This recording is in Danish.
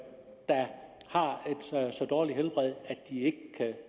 har et så dårligt helbred at de ikke